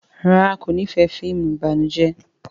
ràrá kò n'ifẹ fíìmù ìbànújẹ.